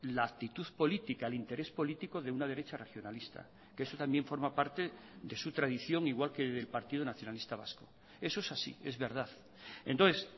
la actitud política el interés político de una derecha regionalista que eso también forma parte de su tradición igual que el partido nacionalista vasco eso es así es verdad entonces